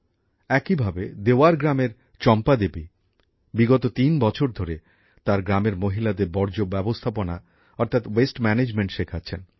একইভাবে দেওয়ার গ্রামের চম্পাদেবী বিগত ৩ বছরধরে তার গ্রামের মহিলাদের বর্জ্য ব্যবস্থাপনা অর্থাৎ ওয়েস্ট ম্যানেজমেন্ট শেখাচ্ছেন